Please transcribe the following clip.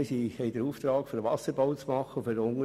Wir haben den Auftrag, für den Unterhalt des Bachs zu sorgen.